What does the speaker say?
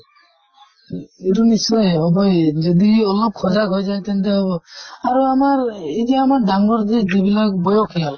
সেইটো নিশ্চয় হবই যদি অলপ সজাগ হৈ যায় তেন্তে হʼব। আৰু আমাৰ এই যে আমাৰ ডাঙ্গৰ যে যিবিলাক বয়সিয়াল